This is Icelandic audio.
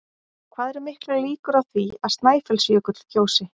Hvað eru miklar líkur á því að Snæfellsjökull gjósi?